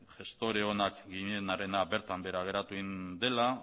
gestore onak ginenarena bertan behera geratu egin dela